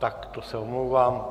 Tak to se omlouvám.